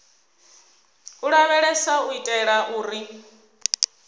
u lavheleswa u itela uri